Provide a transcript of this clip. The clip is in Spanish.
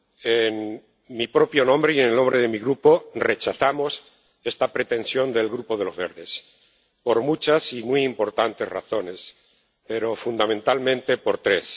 En mi propio nombre, y en nombre de mi Grupo, rechazo esta pretensión del Grupo de los Verdes, por muchas y muy importantes razones, pero fundamentalmente por tres.